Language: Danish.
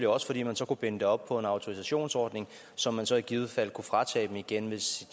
også fordi man så kunne binde det op på en autorisationsordning som man så i givet fald kunne fratage dem igen hvis